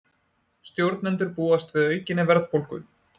Stjórnendur búast við aukinni verðbólgu